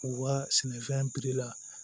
U ka sɛnɛfɛn la